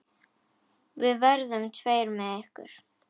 Við verðum tveir með ykkur.